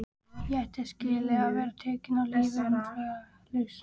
Ég ætti skilið að vera tekinn af lífi umsvifalaust.